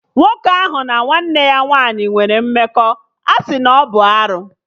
Nwoke ahụ na nwanne ya nwaanyị nwere mmekọ, a sị na ọ bụ arụ